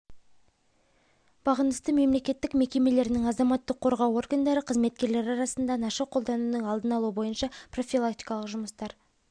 бағынысты мемлекеттік мекемелерінің азаматтық қорғау органдары қызметкерлері арасында наша қолданудың алдын алу бойынша профилактикалық жұмыстар